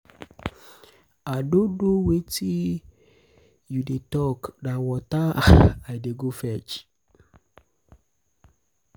i no know um wetin you dey talk na water um i dey um go fetch